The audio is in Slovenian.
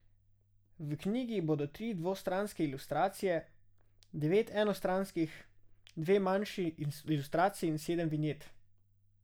V knjigi bodo tri dvostranske ilustracije, devet enostranskih, dve manjši ilustraciji in sedem vinjet.